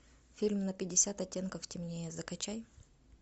фильм на пятьдесят оттенков темнее закачай